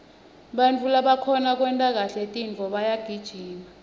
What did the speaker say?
bantfu labakhona kwenta kahle tintfo bayagijima